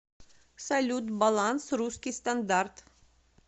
салют баланс русский стандарт